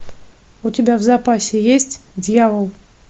у тебя в запасе есть дьявол